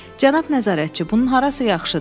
Cənab nəzarətçi, bunun harası yaxşıdır?